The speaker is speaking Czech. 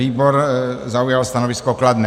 Výbor zaujal stanovisko kladné.